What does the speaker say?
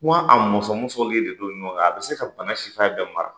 Ko a musɔmusɔlen de don ɲɔgɔn kan a bɛ se ka bana sifɛn bɛɛ mara.